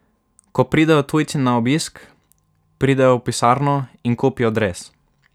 Ko pridejo tujci na obisk, pridejo v pisarno in kupijo dres.